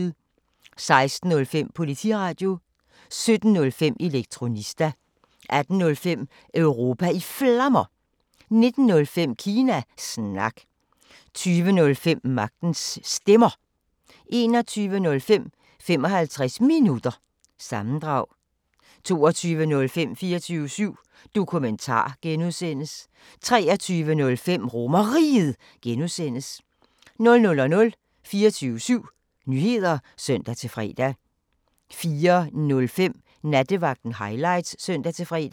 16:05: Politiradio 17:05: Elektronista 18:05: Europa i Flammer 19:05: Kina Snak 20:05: Magtens Stemmer 21:05: 55 Minutter – sammendrag 22:05: 24syv Dokumentar (G) 23:05: RomerRiget (G) 00:00: 24syv Nyheder (søn-fre) 04:05: Nattevagten Highlights (søn-fre)